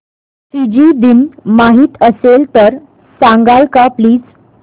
Fiji दिन माहीत असेल तर सांगाल का प्लीज